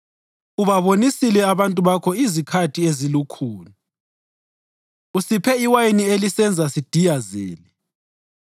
Ubabonisile abantu bakho izikhathi ezilukhuni; usiphe iwayini elisenza sidiyazele.